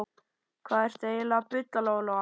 Hvað ertu eiginlega að bulla, Lóa-Lóa?